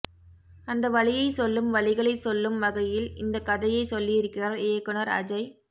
அந்த வலியை சொல்லும் வலிகளை சொல்லும் வகையில் இந்த கதையை சொல்லியிருக்கிறார் இயக்குனர் அஜய்